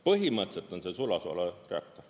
Põhimõtteliselt on see sulasoolareaktor.